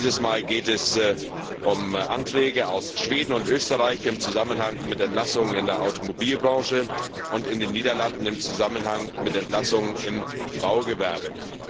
Dieses Mal geht es um Anträge aus Schweden und Österreich im Zusammenhang mit Entlassungen in der Automobilbranche und aus den Niederlanden im Zusammenhang mit Entlassungen im Baugewerbe.